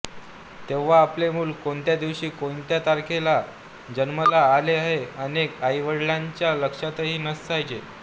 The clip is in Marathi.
तेव्हा आपले मूल कोणत्या दिवशी कोणत्या तारखेला जन्माला आले हे अनेक आईवडिलांच्या लक्षातही नसायचे